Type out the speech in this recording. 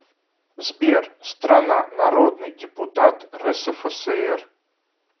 сбер страна народный депутат рсфср